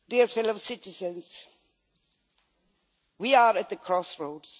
Fellow citizens, we are at the crossroads.